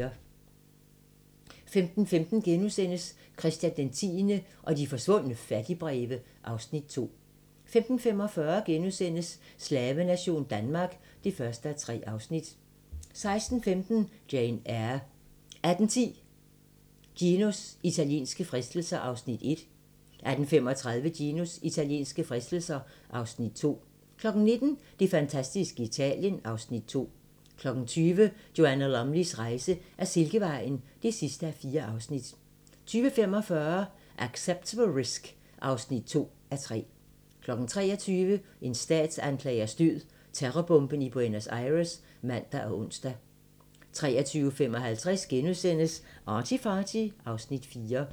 15:15: Christian 10. og de forsvundne fattigbreve (Afs. 2)* 15:45: Slavenation Danmark (1:3)* 16:15: Jane Eyre 18:10: Ginos italienske fristelser (Afs. 1) 18:35: Ginos italienske fristelser (Afs. 2) 19:00: Det fantastiske Italien (Afs. 2) 20:00: Joanna Lumleys rejse ad Silkevejen (4:4) 20:45: Acceptable Risk (2:3) 23:00: En statsanklagers død: Terrorbomben i Buenos Aires (man og ons) 23:55: ArtyFarty (Afs. 4)*